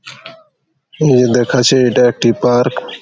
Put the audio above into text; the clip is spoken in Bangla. এই দেখাচ্ছে এটা একটি পার্ক ।